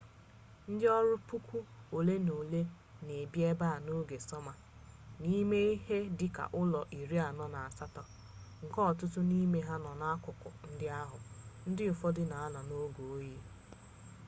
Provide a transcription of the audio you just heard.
ndị ọrụ puku ole na ole na-ebi ebe a n'oge sọma n'ime ihe dị ka ụlọ iri anọ na asatọ nke ọtụtụ n'ime ha nọ n'akụkụ ndị ahụ ndị ụfọdụ na-anọ n'oge oyi